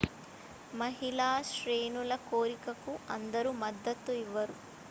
మహిళా శ్రేణుల చేరికకు అందరూ మద్దతు ఇవ్వరు